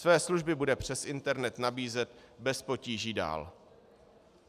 Své služby bude přes internet nabízet bez potíží dál.